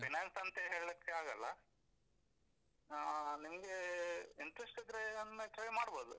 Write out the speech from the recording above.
Finance ಅಂತ ಹೇಳಿಕ್ಕೆ ಆಗಲ್ಲ, ಆ ನಿಮ್ಗೆ interest ಇದ್ರೆ ಒಮ್ಮೆ try ಮಾಡ್ಬೋದು.